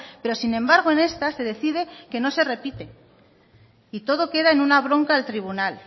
pero sin embargo en esta se decide que no se repite y todo queda en una bronca al tribunal